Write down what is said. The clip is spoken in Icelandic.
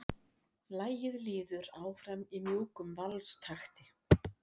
Lagið líður áfram í mjúkum valstakti.